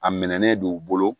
A mɛna ne do u bolo